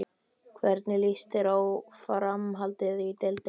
Hvernig lýst þér á framhaldið í deildinni?